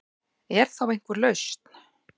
Er þá einhver lausn